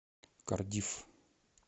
кардифф